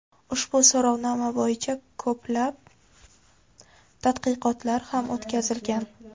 Ushbu so‘rovnoma bo‘yicha ko‘plab tadqiqotlar ham o‘tkazilgan.